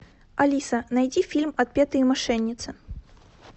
алиса найди фильм отпетые мошенницы